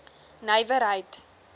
nywerheid